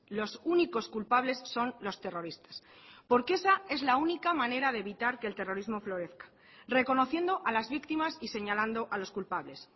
los únicos culpables son los terroristas porque esa es la única manera de evitar que el terrorismo florezca reconociendo a las víctimas y señalando a los culpables